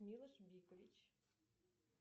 милош бикович